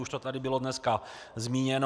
Už to tady bylo dneska zmíněno.